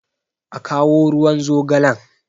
a kawo ruwan zogalen!